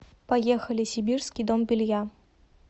поехали сибирский дом белья